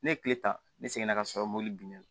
Ne ye kile ta ne seginna ka sɔrɔ mobili binna